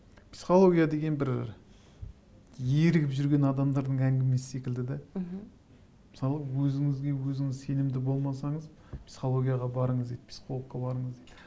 психология деген бір ерігіп жүрген адамдардың әңгімесі секілді де мхм мысалы өзіңізге өзіңіз сенімді болмасаңыз психологияға барыңыз дейді психологқа барыңыз дейді